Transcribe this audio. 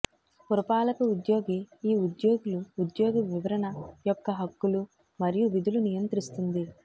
పురపాలక ఉద్యోగి ఈ ఉద్యోగులు ఉద్యోగ వివరణ యొక్క హక్కులు మరియు విధులు నియంత్రిస్తుంది